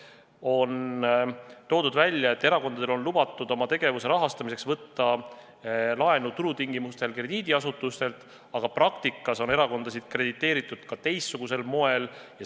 Veel on välja toodud välja, et erakondadel on lubatud oma tegevuse rahastamiseks võtta turutingimustel krediidiasutustelt laenu, aga praktikas on erakondasid krediteeritud ka teistsugusel moel.